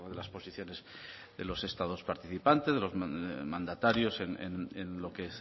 las posiciones de los estados participantes de los mandatarios en lo que